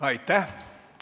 Aitäh!